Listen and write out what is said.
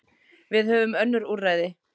Við höfum önnur úrræði.